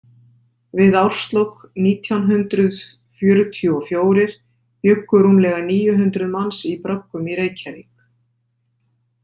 Við árslok nítján hundrað fjörutíu og fjórir bjuggu rúmlega níu hundruð manns í bröggum í Reykjavík.